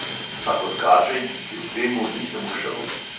A kot kaže, ji kljub temu nisem ušel.